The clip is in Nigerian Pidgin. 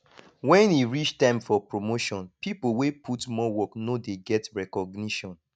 when e reach time for promotion pipo wey put more work no dey get recognition